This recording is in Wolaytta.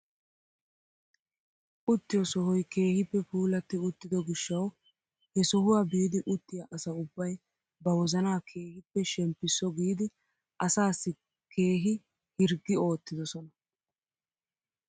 Uttiyoo sohoy keehippe puulatti uttido gishshawu he sohuwaa biidi uttiyaa asa ubbay ba wozanaa keehippe shemppiso giidi asaassi keehi hirggi oottidosona.